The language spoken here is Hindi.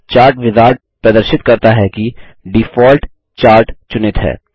चार्ट विजार्ड प्रदर्शित करता है कि डिफ़ॉल्ट चार्ट चुनित है